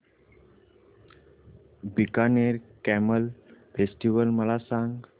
Bikaner camel festival मला सांग